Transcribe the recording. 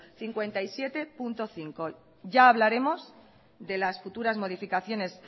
cincuenta y siete punto cinco ya hablaremos de las futuras modificaciones